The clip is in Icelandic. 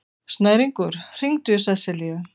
Snæringur, hringdu í Seselíu.